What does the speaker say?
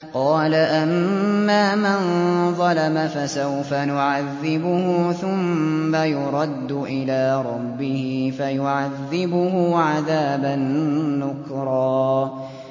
قَالَ أَمَّا مَن ظَلَمَ فَسَوْفَ نُعَذِّبُهُ ثُمَّ يُرَدُّ إِلَىٰ رَبِّهِ فَيُعَذِّبُهُ عَذَابًا نُّكْرًا